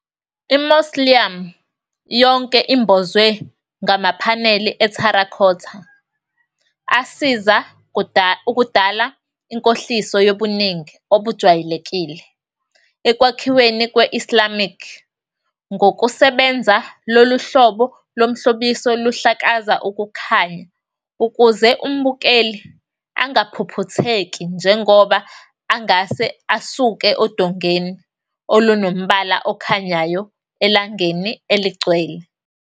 I-mausoleum yonke imbozwe ngamaphaneli e-terracotta asiza ukudala inkohliso yobuningi obujwayelekile ekwakhiweni kwe-Islamic. Ngokusebenza, lolu hlobo lomhlobiso luhlakaza ukukhanya ukuze umbukeli angaphuphutheki njengoba angase asuke odongeni olunombala okhanyayo elangeni eligcwele.